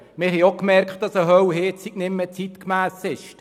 Wir haben auch gemerkt, dass eine Ölheizung nicht mehr zeitgemäss ist.